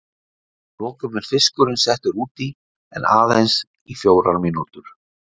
Að lokum er fiskurinn settur út í en aðeins í fjórar mínútur.